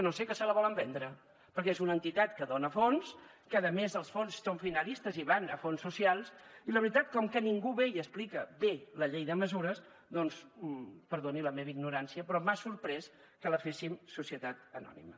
no ho sé que se la volen vendre perquè és una entitat que dona fons que a més els fons són finalistes i van a fons socials i la veritat com que ningú ve i explica bé la llei de mesures doncs perdoni la meva ignorància però m’ha sorprès que la féssim societat anònima